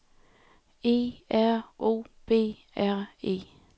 E R O B R E